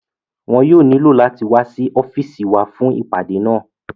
Wọn yóò nílò láti wá sí ọ́fìsì wa fún ìpàdé náà